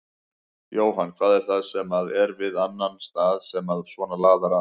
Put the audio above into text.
Jóhann: Hvað er það sem að er við þennan stað sem að svona laðar að?